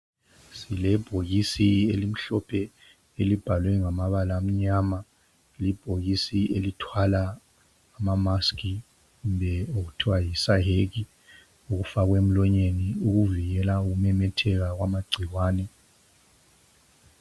Silebhokisi elimhlophe elibhalwe ngamabala amnyama libhokisi elithwala ama 'mask' kumbe okuthwa yisayeke okuvikela ukumemetheka kwamagcikwane.